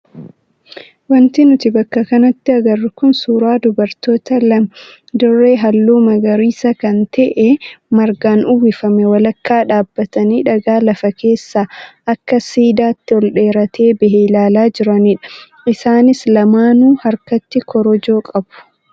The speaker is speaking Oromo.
Wanti nuti bakka kanatti agarru kun suuraa dubartoota lama dirree halluu magariisa kan ta'e margaan uwwifame walakkaa dhaabbatanii dhagaa lafa keessaa akka siidaatti ol dheeratee bahe ilaalaa jiranidha. Isaanis lamaanuu harkatti korojoo qabu.